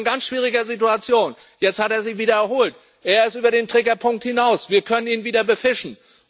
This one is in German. Der war in einer ganz schwierigen Situation, jetzt hat er sich wieder erholt, er ist über den Triggerpunkt hinaus, wir können ihn wieder befischen.